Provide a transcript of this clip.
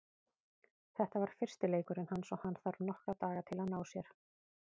Þetta var fyrsti leikurinn hans og hann þarf nokkra daga til að ná sér.